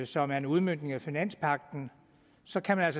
som er en udmøntning af finanspagten så kan man